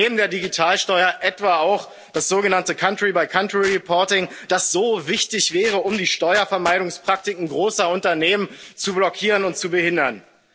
Neben der Digitalsteuer etwa auch das sogenannte country by country reporting, das so wichtig wäre, um die Steuervermeidungspraktiken großer Unternehmen zu blockieren und zu behindern.